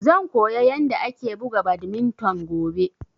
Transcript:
Zan koya yanda ake buga badminton gobe